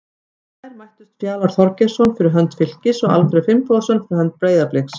Í gær mættust Fjalar Þorgeirsson fyrir hönd Fylkis og Alfreð Finnbogason fyrir hönd Breiðabliks.